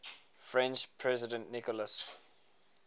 french president nicolas